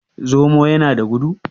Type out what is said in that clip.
zomo ya da gudu?